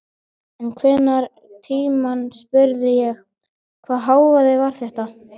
En einhvern tímann spurði ég: Hvaða hávaði var þetta?